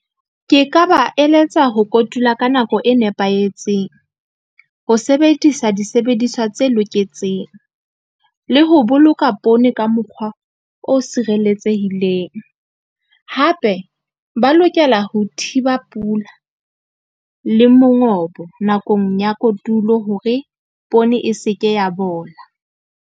Ke ka ba eletsa ho kotula ka nako e nepahetseng, ho sebedisa disebediswa tse loketseng, le ho boloka poone ka mokgwa o sireletsehileng. Hape ba lokela ho thiba pula le mongobo nakong ya kotulo hore poone e se ke ya bola.